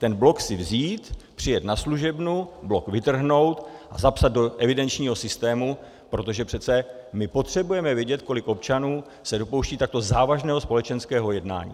Ten blok si vzít, přijet na služebnu, blok vytrhnout a zapsat do evidenčního systému, protože přece my potřebujeme vědět, kolik občanů se dopouští takto závažného společenského jednání.